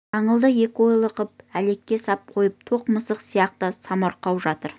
жаңылды екі ойлы қып әлекке сап қойып тоқ мысық сияқты самарқау жатыр